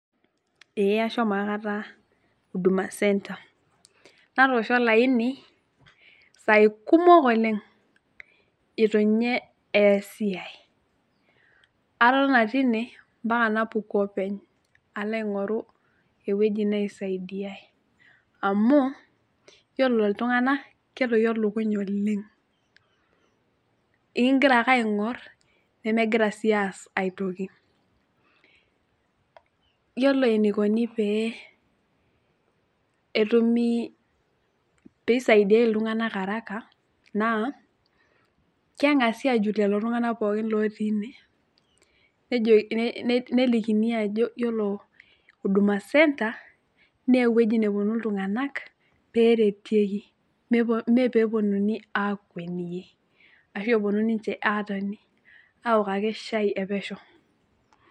Ee ashomo aikata huduma center natoosho olaini isai kumok oleng itu nye easi ae , atotona tine mpaka napuku openy alo aingoru ewueji naisaidiay amu yiolo iltunganak ketoyio lukuny oleng inkigira ake aingor nemegira sii aas aitoki . Yiolo eniukoni pee etumi, pee isaidiay iltunganak araka naa kengasi ajut lelo tunganak pookin lotii ine nejokini , nelikini ajo yiolo huduma centre naa ewueji neponu iltunganak peretieki pee peponuni akweniyie ashu eponu ninche atoni aok ake shai epesho.